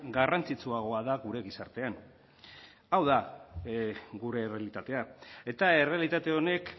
garrantzitsuagoa da gure gizartean hau da gure errealitatea eta errealitate honek